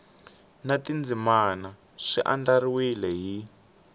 na tindzimana swi andlariwile hi